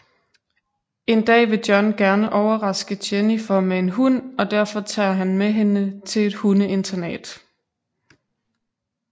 En dag vil John gerne overraske Jennifer med en hund og derfor tager han med hende til en hundeinternat